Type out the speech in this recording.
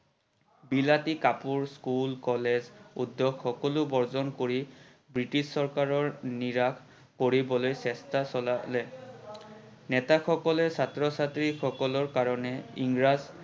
বিলাতী কাপোৰ, school, college, উদ্যোগ সকলো বৰ্জন কৰি ব্ৰিটিছ চৰকাৰক নিৰাশ কৰিবলৈ চেষ্টা চলালে। নেতা সকলে ছাত্ৰ-ছাত্ৰী সকলৰ কাৰনে ইংৰাজ